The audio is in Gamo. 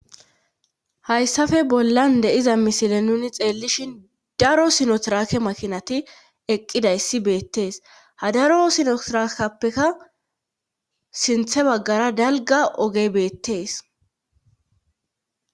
hayssafe bollan de'iza misile nuni xeellishin daro sinotirake makinati eqqidayssi beettees ha daro sinotirakappeka sinthe baggara dalga ogey beettees